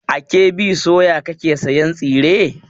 A KB soya kake sayan tsire?